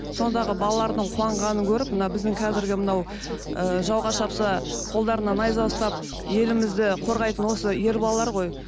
сондағы балалардың қуанғанын көріп мына біздің қазіргі мынау ы жауға шапса қолдарына найза ұстап елімізді қорғайтын осы ер балалар ғой